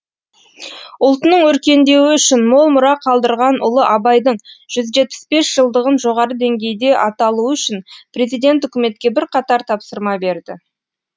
ұлтының өркендеуі үшін мол мұра қалдырған ұлы абайдың жүз жетпіс бес жылдығын жоғары деңгейде аталуы үшін президент үкіметке бірқатар тапсырма берді